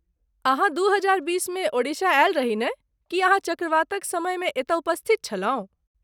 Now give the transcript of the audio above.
अहाँ दू हजार बीसमे ओडिशा आयल रही नहि, की अहाँ चक्रवातक समयमे एतय उपस्थित छलहुँ?